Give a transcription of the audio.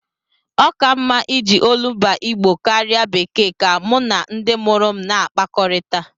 Ọ ka m mma iji olumba Igbo m karịa bekee ka mụ na ndị mụrụ m na-akpakọrịta.